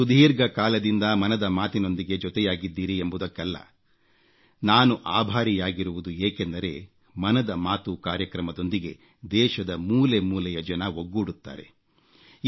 ನೀವು ಸುದೀರ್ಘ ಕಾಲದಿಂದ ಮನದ ಮಾತಿನೊಂದಿಗೆ ಜೊತೆಯಾಗಿದ್ದೀರಿ ಎಂಬುದಕ್ಕಲ್ಲ ನಾನು ಆಭಾರಿಯಾಗಿರುವುದು ಏಕೆಂದರೆ ಮನದ ಮಾತು ಕಾರ್ಯಕ್ರಮದೊಂದಿಗೆ ದೇಶದ ಮೂಲೆಮೂಲೆಯ ಜನ ಒಗ್ಗೂಡುತ್ತಾರೆ